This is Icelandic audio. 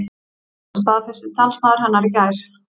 Þetta staðfesti talsmaður hennar í gær